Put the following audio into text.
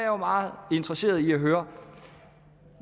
jo meget interesseret i at høre